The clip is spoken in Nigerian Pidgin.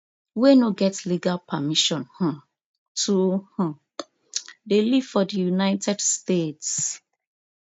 wey no get legal permission um to um dey live for di united states